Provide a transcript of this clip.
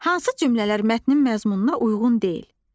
Hansı cümlələr mətnin məzmununa uyğun deyil?